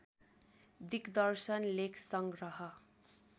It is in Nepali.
दिग्दर्शन लेख संग्रह